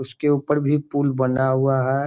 उसके ऊपर भी पुल बना हुआ है।